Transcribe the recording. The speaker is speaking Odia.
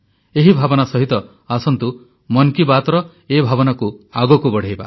ଏହି ଭାବନା ସହିତ ଆସନ୍ତୁ ମନ୍ କି ବାତ୍ର ଏ ଭାବନା ଆଗକୁ ବଢ଼ାଇବା